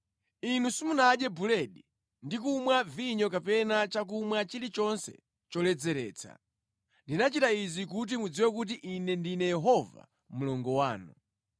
Inu simunadye buledi ndi kumwa vinyo kapena chakumwa chilichonse choledzeretsa. Ndinachita izi kuti mudziwe kuti Ine ndine Yehova Mulungu wanu.